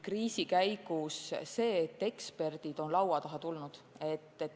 Kriisi käigus on eksperdid laua taha tulnud.